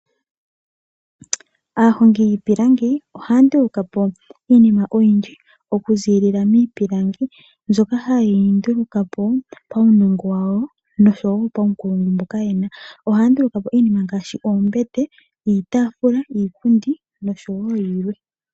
Aahongi yiipilangi oha ndulukapo iinima oyindji oku zilila miipilangi mbyoka ha yi ndulukapo pawunongo wawo noshowo pawunkulungu mboka yena. Ohanduluka po iinima ngashi ombete , iitafula ,iipundi noshowo yimwe.